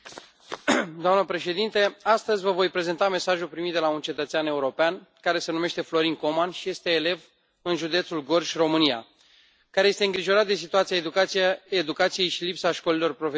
Doamnă președintă, astăzi vă voi prezenta mesajul primit de la un cetățean european, care se numește Florin Coman și este elev în județul Gorj, România, care este îngrijorat de situația educației și lipsa școlilor profesionale.